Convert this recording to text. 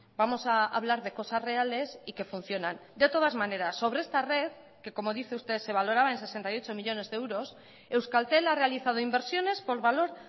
vamos a hablar de cosas reales y que funcionan de todas maneras sobre esta red que como dice usted se valoraba en sesenta y ocho millónes de euros euskaltel ha realizado inversiones por valor